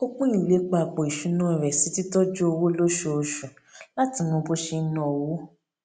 ó pín ìlépa àpò ìṣúnná rẹ sí títójú owó lóṣooṣù láti mọ bó ṣe n ná owó